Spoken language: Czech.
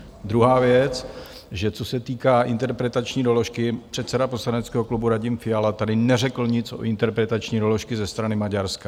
Druhá věc, že co se týká interpretační doložky, předseda poslaneckého klubu Radim Fiala tady neřekl nic o interpretační doložce ze strany Maďarska.